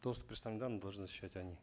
доступ к персональным данным должны защищать они